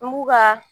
N b'u ka